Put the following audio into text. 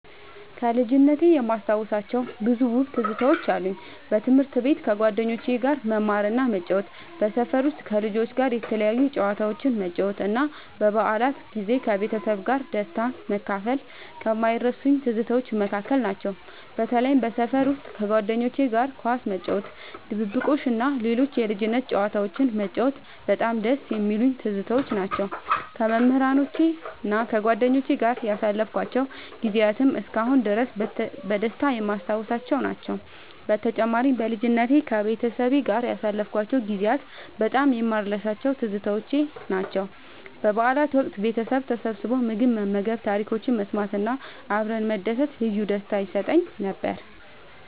ከልጅነቴ የማስታውሳቸው ብዙ ውብ ትዝታዎች አሉ። በትምህርት ቤት ከጓደኞቼ ጋር መማርና መጫወት፣ በሰፈር ውስጥ ከልጆች ጋር የተለያዩ ጨዋታዎችን መጫወት እና በበዓላት ጊዜ ከቤተሰቤ ጋር ደስታን መካፈል ከማይረሱኝ ትዝታዎች መካከል ናቸው። በተለይም በሰፈር ውስጥ ከጓደኞቼ ጋር ኳስ መጫወት፣ ድብብቆሽ እና ሌሎች የልጅነት ጨዋታዎችን መጫወት በጣም ደስ የሚሉኝ ትዝታዎች ናቸው። ከመምህራኖቼና ከጓደኞቼ ጋር ያሳለፍኳቸው ጊዜያትም እስካሁን ድረስ በደስታ የማስታውሳቸው ናቸው። በተጨማሪም፣ በልጅነቴ ከቤተሰቤ ጋር ያሳለፍኳቸው ጊዜያት በጣም የማልረሳቸው ትዝታዎች ናቸው። በበዓላት ወቅት ቤተሰብ ተሰብስቦ ምግብ መመገብ፣ ታሪኮችን መሰማት እና አብረን መደሰት ልዩ ደስታ ይሰጠኝ ነበር።